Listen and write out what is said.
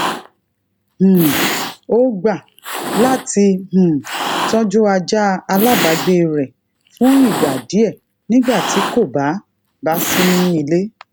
um ó gba lati um tojú ajá alabaagbe re fún ìgbà díe nígbà tí kò bá bá sí ní ilé